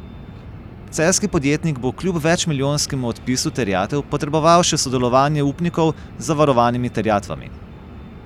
Celjski podjetnik bo kljub večmilijonskemu odpisu terjatev potreboval še sodelovanje upnikov z zavarovanimi terjatvami.